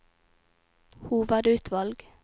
hovedutvalg